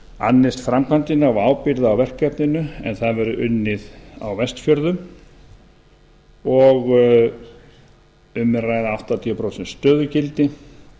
annist framkvæmdina og hafi ábyrgð á verkefninu en það verði unnið á vestfjörðum um er að ræða áttatíu prósent stöðugildi